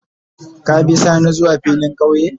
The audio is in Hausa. Ka be sani zuwa filin kauye ne?